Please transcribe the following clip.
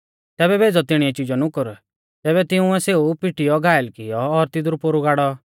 तैबै भेज़ौ तिणीऐ चिजौ नुकुर तैबै तिंउऐ सेऊ भी पिटीयौ घायल कियौ और तिदरु पोरु गाड़ौ